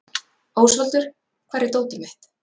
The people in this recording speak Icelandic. Ósvaldur, hvar er dótið mitt?